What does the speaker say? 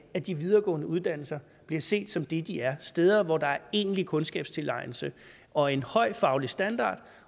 at de videregående uddannelser bliver set som det de er steder hvor der er egentlig kundskabstilegnelse og en høj faglig standard